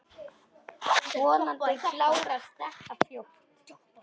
Vonandi klárast þetta fljótt.